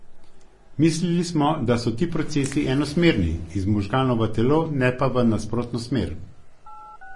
Mislili smo, da so ti procesi enosmerni, iz možganov v telo, ne pa v nasprotno smer.